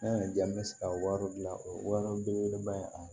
N'a y'a diya n bɛ se ka wari gilan o ye wara belebeleba ye a